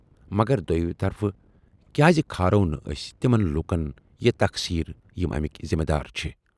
مگر دویمہِ طرفہٕ کیازِ کھارو نہٕ ٲسۍ تِمن لوٗکن یہِ تقسیر یِم امِکۍ ذِمہٕ وار چھِ۔